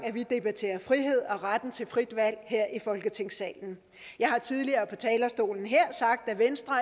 vi debatterer frihed og retten til frit valg her i folketingssalen jeg har tidligere på talerstolen her sagt at venstre